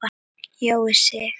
Jói Sig.